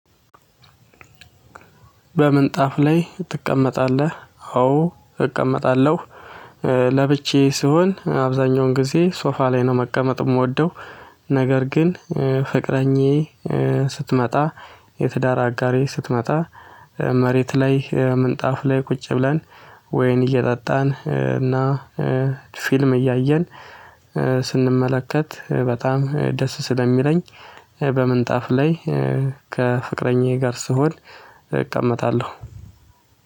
በምንጣፍ ላይ ትቀመጣለህ? አዎ እቀመጣለሁ። ለብቻዬ ስሆን አብዛኛውን ጊዜ ሶፋ ላይ ነው መቀመጥ የምወደው። ነገር ግን ፍቅረኛዬ ስትመጣ የትዳር አጋሬ ስትመጣ መሬት ላይ ምንጣፍ ላይ ቁጭ ብለን ወይን እየጠጣን እና ፊልም እያየን ስንመለከት በጣም ደስ ስለሚለኝ። በምንጣፍ ላይ ከፍቅረኛዬ ጋር ስሆን እቀመጣለሁ።